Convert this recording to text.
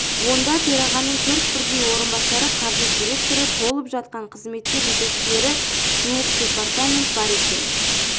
онда төрағаның төрт бірдей орынбасары қаржы директоры толып жатқан қызметтер жетекшілері жуық департамент бар екен